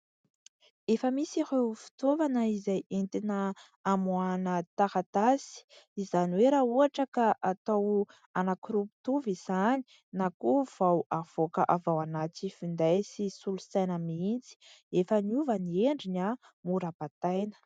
Efa misy ireo fitaovana izay entina amoahana taratasy izany hoe raha ohatra ka atao anankiroa mitovy izany na koa vao avoaka avy ao anaty finday sy solosaina mihitsy, efa niova ny endriny mora bataina.